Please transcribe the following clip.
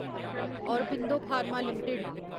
Aurobindo pharma limited